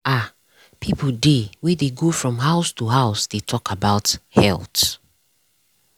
ah people dey wey wey dey go from house to house dey talk about health.